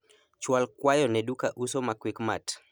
chwal kwayo ne duka uso ma quickmart